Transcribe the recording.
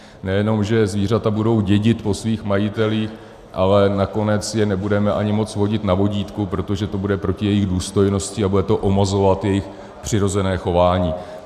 Nejenom že zvířata budou dědit po svých majitelích, ale nakonec je nebudeme ani moci vodit na vodítku, protože to bude proti jejich důstojnosti a bude to omezovat jejich přirozené chování.